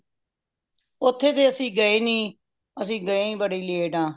ਓਥੇ ਤੇ ਅੱਸੀ ਗਏ ਨਹੀਂ ਅੱਸੀ ਗਏ ਬੜੀ late ਆ